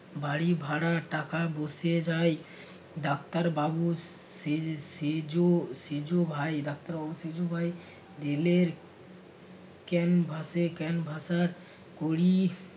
বাড়ি ভাড়ার টাকা বসে যাই ডাক্তার বাবু সে~ সেজো সেজো ভাই ডাক্তার বাবুর সেজো ভাই rail এর canvas এ canvasser করি